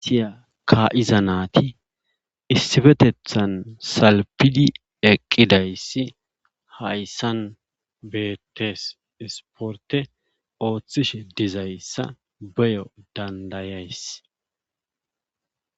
Siya ka7iza naati issifetethan salpidi eqqidayssi hayssan beettes isporte ooththishe dizayssa beyo dandayays.